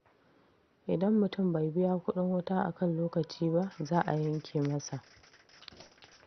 Idan mutum bai biya kuɗin wuta a kan lokaci ba, za a yanke masa.